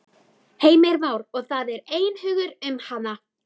Heimir Már: Og það er einhugur um hana?